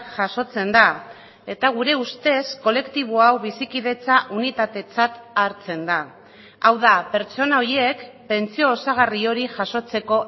jasotzen da eta gure ustez kolektibo hau bizikidetza unitatetzat hartzen da hau da pertsona horiek pentsio osagarri hori jasotzeko